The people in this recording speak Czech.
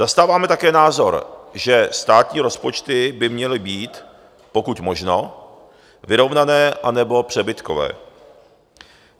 Zastáváme také názor, že státní rozpočty by měly být pokud možno vyrovnané anebo přebytkové.